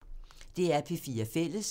DR P4 Fælles